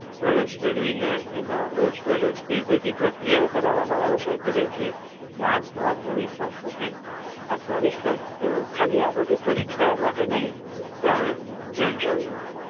પ્રવેશ મેળવી ને એમાં રોજ મારોજ એ બધી પ્રક્રિયાઓ કરવામાં આવે છે જેથી માણસ નું આત્મવિશ્વાસ વધે આત્મવિશ્વાસ તો ખાલી આ બધી પરીક્ષા ઓ માટે નય પણ general